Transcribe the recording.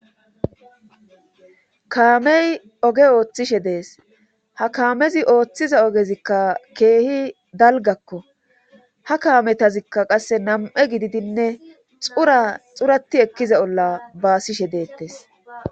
Kaamey oge ooththishe dees ha kaamezi ooththiza ogezikka keehi dalgakko ha kaametazikka qasse nam7e gididinne xura xurati ekkiza olla baasishe deettes.